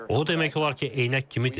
O demək olar ki, eynək kimidir.